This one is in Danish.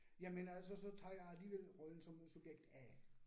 Jamen altså, så tager jeg alligevel rollen som subjekt A